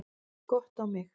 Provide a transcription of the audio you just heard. Gott á mig.